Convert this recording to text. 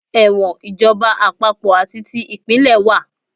Ẹ̀wọ̀n ìjọba àpapọ̀ àti ti ìpínlẹ̀ wà.